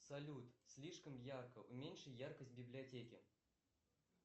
салют слишком ярко уменьши яркость в библиотеке